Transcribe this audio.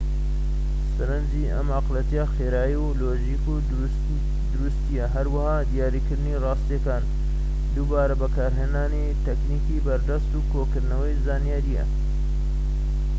سەرنجی ئەم ئەقڵیەتە خێرایی و لۆژیک و دروستییە هەروەها دیاریکردنی ڕاستییەکانە دووبارە بەکارهێنانی تەکنیکی بەردەست و کۆکردنەوەی زانیاریە